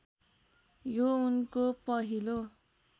यो उनको पहिलो